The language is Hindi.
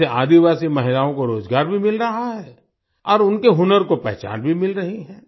इससे आदिवासी महिलाओं को रोजगार भी मिल रहा है और उनके हुनर को पहचान भी मिल रही है